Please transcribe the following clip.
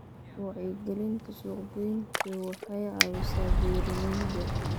Wacyigelinta suuqgeyntu waxay caawisaa beeralayda.